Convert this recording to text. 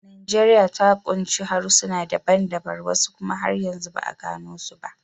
Najeriya ta kunshi harsuna daban-daban, wasu kuma har yanzu ba a gano su ba.